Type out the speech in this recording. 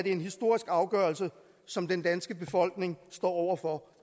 en historisk afgørelse som den danske befolkning står over for